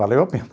Valeu a pena.